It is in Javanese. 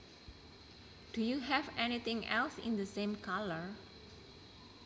Do you have anything else in the same colour